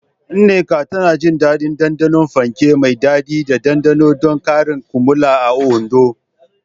Nneka tana jin daɗin ɗanɗanon fanke mai daɗi da ɗanɗano don karin kumallo a Ondo.